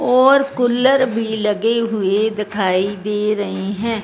और कुलर भी लगे हुए दिखाई दे रहे हैं।